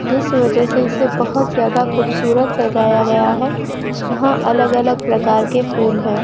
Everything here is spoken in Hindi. जिस वजह से इसे बहौत ज्यादा खूबसूरत सजाया गया है वहां अलग अलग प्रकार के फूल है।